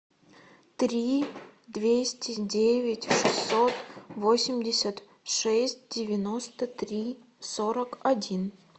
три двести девять шестьсот восемьдесят шесть девяносто три сорок один